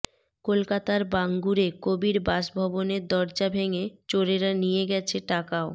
কলকাতার বাঙ্গুরে কবির বাসভবনের দরজা ভেঙে চোরেরা নিয়ে গেছে টাকা ও